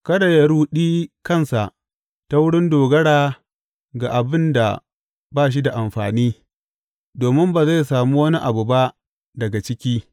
Kada yă ruɗi kansa ta wurin dogara ga abin da ba shi da amfani domin ba zai samu wani abu ba daga ciki.